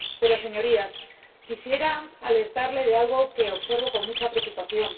Pero, señorías, quisiera alertarles de algo que observo con mucha preocupación.